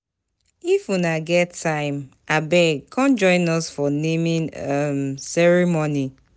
If una get time abeg come join us for the naming um ceremony